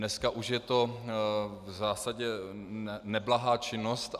Dneska už je to v zásadě neblahá činnost.